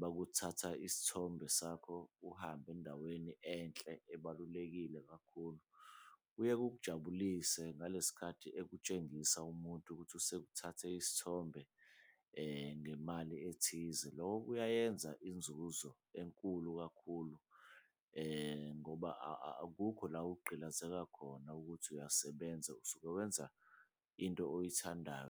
bakuthatha isithombe sakho uhamba endaweni enhle ebalulekile kakhulu, kuye kukujabulise ngale sikhathi ekutshengisa umuntu ukuthi usukuthathe isithombe ngemali ethize. Loko kuyoyenza inzuzo enkulu kakhulu ngoba akukho la ogqilazeka khona ukuthi uyasebenza usuke wenza into oyithandayo.